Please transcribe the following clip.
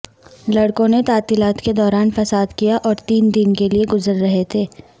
لڑکوں نے تعطیلات کے دوران فساد کیا اور تین دن کے لئے گزر رہے تھے